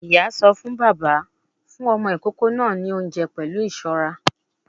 Ìyá sọ fún bàbá; fún ọmọ ìkókó náà ní oúnjẹ pẹ̀lú ìṣọ́ra